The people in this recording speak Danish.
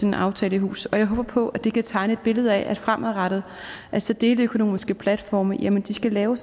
en aftale i hus og jeg håber på at det kan tegne et billede af at fremadrettet skal deleøkonomiske platforme lave